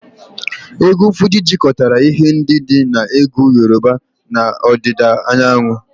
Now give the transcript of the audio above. Egwu Fuji jikọtara ihe ndị dị na egwu Yoruba na ọdịda anyanwụ